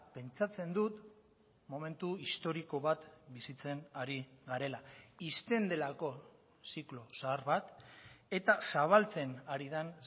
pentsatzen dut momentu historiko bat bizitzen ari garela ixten delako ziklo zahar bat eta zabaltzen ari den